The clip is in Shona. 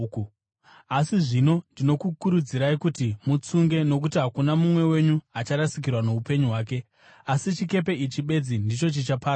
Asi zvino ndinokukurudzirai kuti mutsunge, nokuti hakuna mumwe wenyu acharasikirwa noupenyu hwake; asi chikepe ichi bedzi ndicho chichaparadzwa.